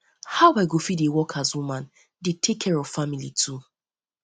how i go fit dey work as woman dey take care of family too